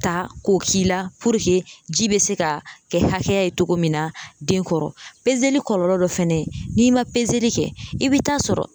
Ta k'o k'i la ji bɛ se ka kɛ hakɛ ye cogo min na den kɔrɔ kɔlɔlɔ dɔ fɛnɛ ye n'i ma kɛ i bi t'a sɔrɔ